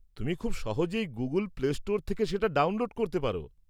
তুমি খুব সহজেই গুগল প্লে স্টোর থেকে সেটা ডাউনলোড করতে পার।